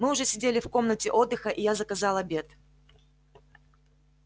мы уже сидели в комнате отдыха и я заказал обед